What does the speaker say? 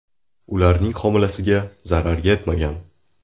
Ularning homilasiga zarar yetmagan.